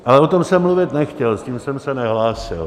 Ale o tom jsem mluvit nechtěl, s tím jsem se nehlásil.